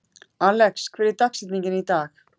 Alex, hver er dagsetningin í dag?